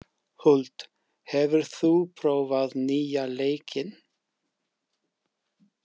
Huld, hefur þú prófað nýja leikinn?